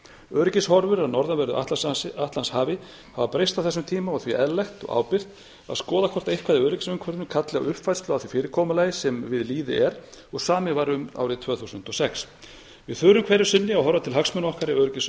öryggishorfur á norðanverðu atlantshafi hafa breyst á þessum tíma og því eðlilegt og ábyrgt að skoða hvort eitthvað í öryggisumhverfinu kalli á uppfærslu á því fyrirkomulagi sem við lýði er og samið var um árið tvö þúsund og sex við þurfum hverju sinni að horfa átt hagsmuna okkar í öryggis og